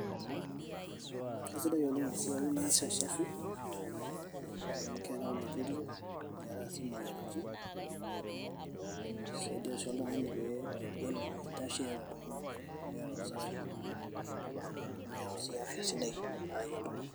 Keaisidai oleng' esiai baasi usafi amu keari oloirerio neari sii imoyaritin, nisaidia sii oltung'ani pee eitashe tiatua iltung'ana amu keata usafi tedukuiya iltung'ana.